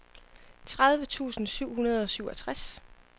tredive tusind syv hundrede og syvogtres